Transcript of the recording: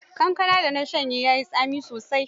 Kankanar da na sha ya yi tsami sosai.